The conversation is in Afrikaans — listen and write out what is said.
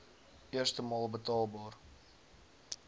eerste maal betaalbaar